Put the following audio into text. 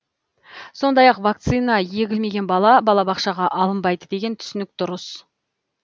сондай ақ вакцина егілмеген бала балабақшаға алынбайды деген түсінік дұрыс